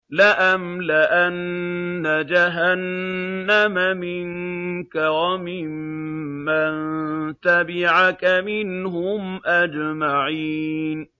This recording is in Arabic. لَأَمْلَأَنَّ جَهَنَّمَ مِنكَ وَمِمَّن تَبِعَكَ مِنْهُمْ أَجْمَعِينَ